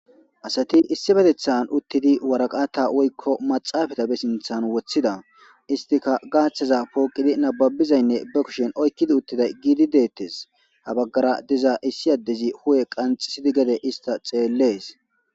asati issi betethan uttidi waraqata woykko maxaafata be sinthan woththida istika gaaththaza pooqidi nababizaynne ba kushin oykkidi uttida giidi deettes habaggara diza issi addezi hu7e qanxisidi gede ista xeellees